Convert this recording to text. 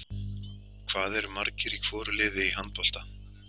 Hvað eru margir í hvoru liði í handbolta?